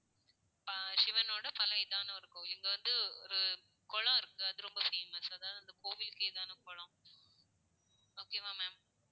அஹ் சிவனோட பழைய இதான ஒரு கோவில். இங்க வந்து ஒரு குளம் இருக்கு. அது வந்து ரொம்ப famous அதாவது அந்த கோவிலுக்கே இதான குளம் okay வா ma'am